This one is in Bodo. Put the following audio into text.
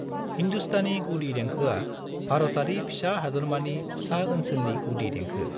हिंदुस्तानी गुदि देंखोआ भारतारि फिसा हादोरमानि सा-ओनसोलनि गुदि देंखो।